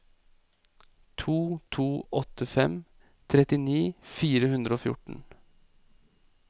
to to åtte fem trettini fire hundre og fjorten